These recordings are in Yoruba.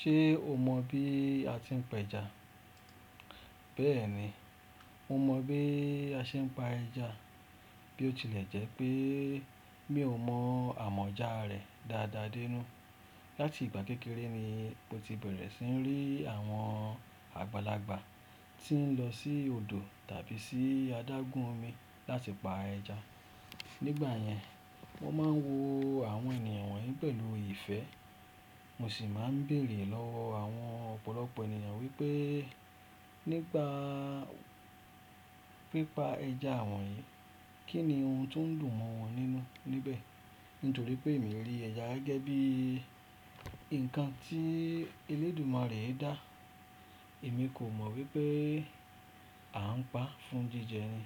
Ṣé o mọ bí a ti ń pẹja? Bẹ́ẹ̀ni, mo mọ bí a ṣe ń pa ẹja, bí ó tilẹ̀ jẹ́ pé mi ò mọ àmọ̀jáa rẹ̀ dáadáa dénú. Lati ìgbà kékeré ni mo ti bẹ̀rẹ̀ sí ní rí àwọn àgbàlagbà tí ń lọ sí odò tàbí sí adágún omi láti pa ẹja. Nígbà yẹn, wọ́n máa ń wo àwọn ènìyàn wọ̀nyí pẹ̀lú ìfẹ́. Mo sì máa ń béèrè lọ́wọ́ àwọn ọ̀pọ̀lọpọ̀ ènìyàn wípé nípa, pipa ẹja wọ̀nyí, kí ni ohun tó ń dùn mọ́ wọn nínú níbẹ̀? Nítorí pé èmi rí ẹja gẹ́gẹ́ bí nǹkan tí elédùmarè dà. Èmi kò mọ wípé à ń pa fún jíjẹ ni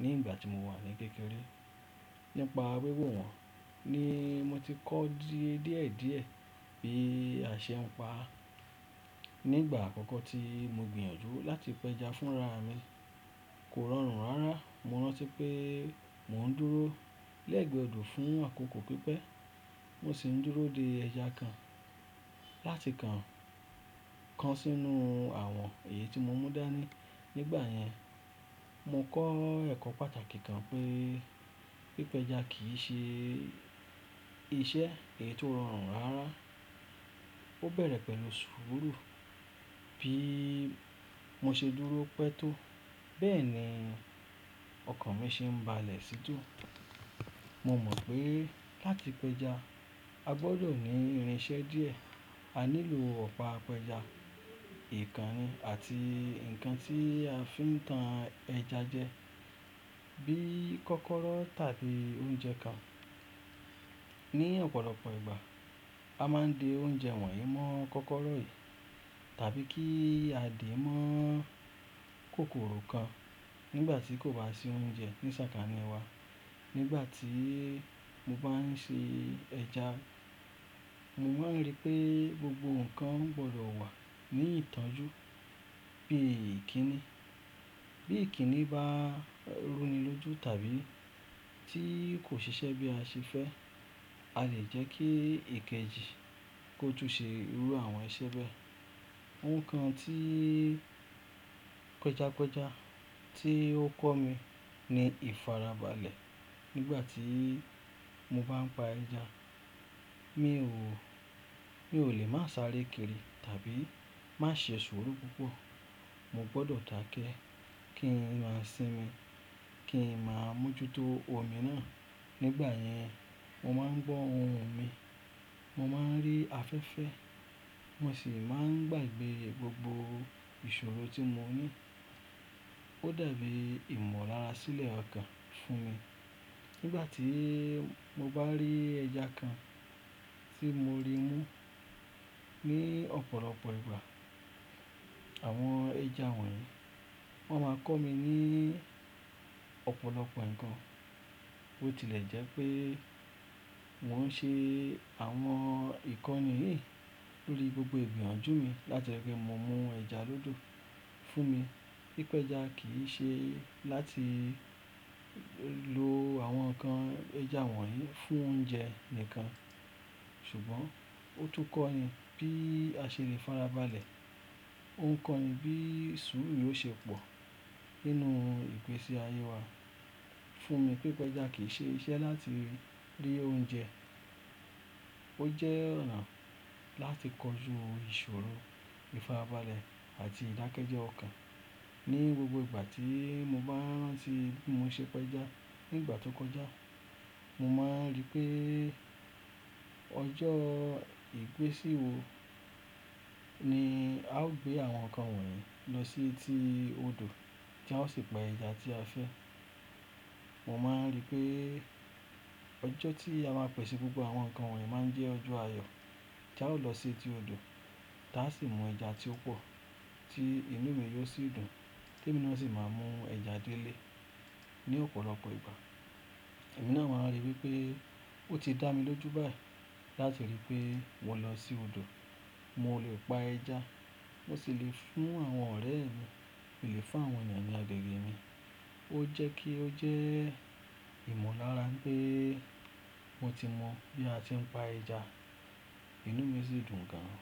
ní ìgbà tí mo wà ní kékeré. Nípa wiwò wọn ni mo ti kọ́ díẹ̀díẹ̀díẹ̀ bí a ṣe ń pa. Nígbà àkọ́kọ́ tí mo gbìyànjú láti pẹja fún ra mi, kò rọrùn rárá. Mo rántí pé mò ń dúró lẹ́ẹ̀gbẹ́ odò fún àkókò pípẹ́. Mo sì ń dúró de ẹja kan láti kan, kan sínú àwọn èyí tí mo mú dání. Nígbà yẹn, mo kọ́ ẹ̀kọ́ pàtàkì kan pé pípẹja kì í ṣe iṣẹ́ èyí tó rọrùn rárá. Ó bẹ̀rẹ̀ pẹ̀lú sùúrù. Bí mo ṣe dúró pẹ́ tó, bẹ́ẹ̀ ni ọkàn mi ṣe ń balẹ̀ sí dùn. Mo mọ̀ pé láti pẹja, a gbọdọ̀ ní irinṣẹ́ díẹ̀. A nílò ọ̀pá pẹja, ìkànnì àti nǹkan tí a fi ń tan ẹja jẹ bí kọ́kọ́rọ́ tàbí oúnjẹ kan. Ni ọ̀pọ̀lọpọ̀ ìgbà, a máa ń di oúnjẹ wọ̀nyí mọ́ kọ́kọ́rọ́ yìí tàbí kí a dì í mọ́ kòkòrò kan nígbà tí kò bá sí oúnjẹ ní sàkání wa. Nígbà tí mo bá ń ṣe ẹja, mo máa ń rí pé gbogbo nnkan gbọdọ̀ wà ní ìtọ́jú bí ikíni. Bí ikíni bá rúni lójú tàbí tí kò ṣiṣẹ́ bí a ṣe fẹ́, a lè jẹ́ kí èkejì kó tún ṣe irú àwọn iṣẹ́ bẹ́ẹ̀. Ohun kan tí pẹjapẹja tí ó kọ́ mi ni ìfarabalẹ̀ nígbà tí mo bá ń pa ẹja. Mi ò, mi ò lè má sáré kiri tàbí má ṣe sùúrù púpọ̀. Mo gbọdọ̀ dakẹ́ kí ń má sín mi, kí n má mújútó omi náà. Nígbà yẹn, mo máa ń gbọ́ ohùn mi, mo máa ń rí afẹ́fẹ́, mo sì máa ń gbàgbé gbogbo ìṣòro tí mo ní. Ó dàbí ìmọ̀lára sílẹ̀ ọkàn fún mi nígbà tí mo bá rí ẹja kan tí mo rí mú. Ni ọ̀pọ̀lọpọ̀ ìgbà, àwọn ẹja wọ̀nyí, wọ́n máa kọ́ mi ní ọ̀pọ̀lọpọ̀ nnkan, bó tilẹ̀ jẹ́ pé wọ́n ṣe àwọn ìkọ́ni yìí lórí gbogbo ìgbìyànjú mi láti ripe mú ẹja lódò fún mi. Pípẹja kì í ṣe láti lo àwọn ǹkan ẹja wọ̀nyí fún oúnjẹ nìkan. Ṣùgbọ́n ó tún kọ́ni bí a ṣe lè farabalẹ̀. Ó ń kọ́ni bí i ṣuuru yoó ṣe pọ̀ nínú ìgbésí ayé wa. Fún mi pípẹja kì í ṣe iṣẹ́ láti rí oúnjẹ. Ó jẹ́ ọ̀nà láti kọju ìṣòro, ìfarabalẹ̀ àti ìdákẹ́jẹ ọkàn. Ni gbogbo ìgbà tí mo bá ń rántí bí mo ṣe pẹja nígbà tó kọjá, mo máa ń rí pé ọjọ́ ìgbésì wò ni a ó gbé àwọn nnkan wọ̀nyí lọ sí etí odò tí a ó sì pa ẹja tí a fẹ́. Mo máa ń rí pé ọjọ́ tí a máa pẹ̀sẹ̀ gbogbọ̀ àwọn nnkan wọ̀nyí máa ń jẹ́ ọjọ́ ayọ̀ tí a ó lọ sí etí odò, tí a sì mú ẹja tí ó pọ̀ tí inú mi yóò sì dùn tí èmi ló sì máa mú ẹja dé ilé. Ni ọ̀pọ̀lọpọ̀ ìgbà, èmi náà máa ń ríi wípé ó ti dá mi lójú báyìí láti ríi pé mo lọ sí odò, mo lè pa ẹja, mo sì lè fún àwọn ọ̀rẹ́ mi, mi lè fún àwọn ènìyàn agbègbè mi. Ó jẹ́ kí ó jẹ́ ìmọ̀lára pé mo ti mọ bí a ti ń pa ẹja, inú mi sì dùn gan.